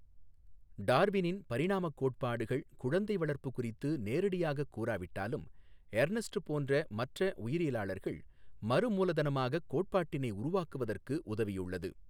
டாா்வினின் பரிணாமக் கோட்பாடுகள் குழந்தை வளா்ப்பு குறித்து நேரடியாகக் கூறாவிட்டாலும் எா்னஸ்ட் போன்ற மற்ற உயரியலாளா்கள் மறுமூலதனமாகக் கோட்பாட்டினை உருவாக்குவதற்கு உதவியுள்ளது.